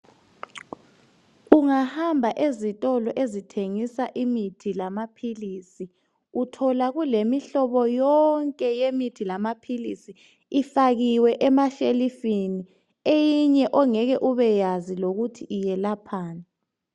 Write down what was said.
Ungahamba ezitolo ezithengisa imithi lamaphilizi uthola kulemihlobo yonke yemithi lamaphilizi ifakiwe emashelufini eyinye ongeke ubekwazi lokuthi ilaphani.